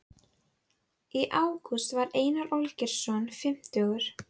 Í ágúst varð Einar Olgeirsson fimmtugur.